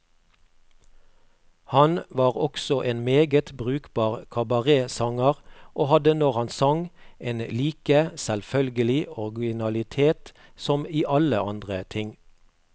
Han var også en meget brukbar kabaretsanger, og hadde, når han sang, en like selvfølgelig originalitet som i alle andre ting.